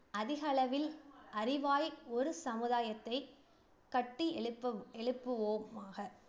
அதிக அளவில் அறிவாய் ஒரு சமுதாயத்தை கட்டியெழுப்பும் எழுப்புவோம் ஆக